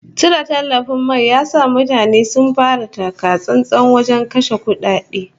Cire tallafin mai ya sa mutane sun fara taka-tsantsan wajen kashe kudade